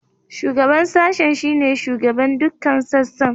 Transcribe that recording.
Shugaban Sashen shine shugaban dukkan sassan.